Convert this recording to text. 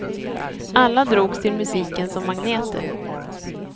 Alla drogs till musiken som magneter.